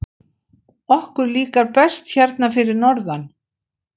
Okkur líkar best hérna fyrir norðan.